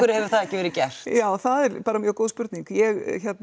hefur það ekki verið gert já það er bara mjög góð spurning ég